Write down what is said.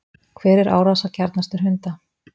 hver er árásargjarnastur hunda